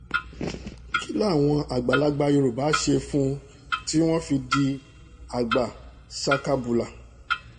kí làwọn àgbààgbà yorùbá ṣe fún un tí wọ́n fi di àgbà ṣakabàlà